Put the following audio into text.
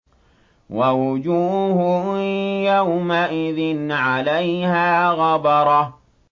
وَوُجُوهٌ يَوْمَئِذٍ عَلَيْهَا غَبَرَةٌ